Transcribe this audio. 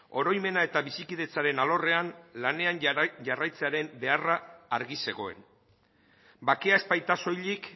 oroimena eta bizikidetzaren alorrean lanean jarraitzearen beharra argi zegoen bakea ez baita soilik